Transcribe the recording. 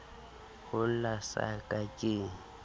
ho lla sa ka ke